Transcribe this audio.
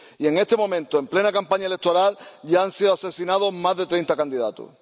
y, en este momento, en plena campaña electoral, ya han sido asesinados más de 30 candidatos.